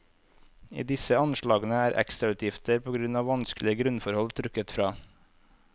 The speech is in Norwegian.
I disse anslagene er ekstrautgifter på grunn av vanskelige grunnforhold trukket fra.